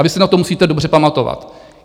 A vy se na to musíte dobře pamatovat.